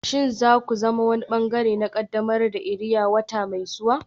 Shin za ku zama wani ɓangare na ƙaddamar da iria wata mai zuwa?